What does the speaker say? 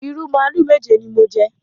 Ìrù màlúù méje ni mo jẹ.